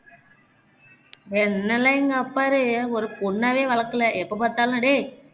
என்னையெல்லாம் எங்க அப்பாரு ஒரு பொண்ணாவே வளக்கல எப்போ பாத்தாலும் டேய்